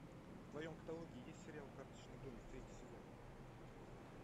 в твоем каталоге есть сериал карточный домик третий сезон